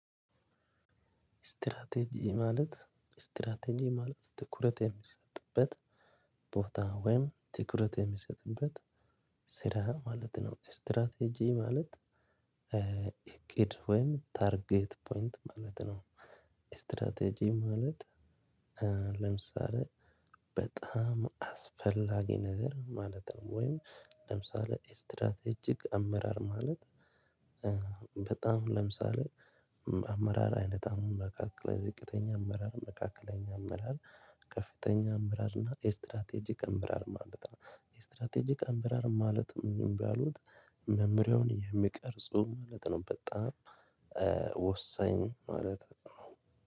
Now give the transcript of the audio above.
ስትራቴጂ ማለት ስትራቴጂ ማለት ትኩረት የሚሰጥበት ቦታ ወይም ትኩረት የሚሰጥበት ስራ ማለት ነው። ስትራቴጂ ማለት እቅድ ወይም ታርጌት ፖይንት ማለት ነው። ስትራቴጂ ማለት ለምሳሌ በጣም አስፈላጊ ነገር ማለት ነው። ወይም ለምሳሌ ስትራቴጂክ አመራር ማለት በጣም ለምሳሌ አመራር አይነት አሁን መካከለኛ ዝቅተኛ አመራር መካከለኛ አመራር ከፍተኛ አመራር እና ስትራቴጂክ አመራር ማለት ነው። ስትራቴጂክ አመራር ማለት የሚባሉት መመሪያውን የሚቀርጹ ማለት ነው። በጣም ወሳኝ ማለት ነው።